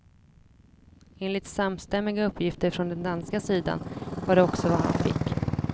Enligt samstämmiga uppgifter från den danska sidan var det också vad han fick.